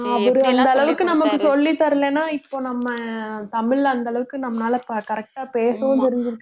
அவர் இந்த அளவுக்கு நமக்கு சொல்லித் தரலைன்னா இப்ப நம்ம தமிழ்ல அந்த அளவுக்கு நம்மளால ப~ correct ஆ பேசவும் தெரிஞ்சிருக்காது